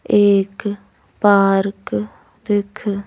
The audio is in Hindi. एक पार्क दिख--